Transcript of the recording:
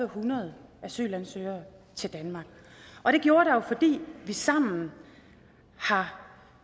hundrede asylansøgere til danmark og det gjorde der jo fordi vi sammen har